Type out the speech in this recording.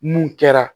Mun kɛra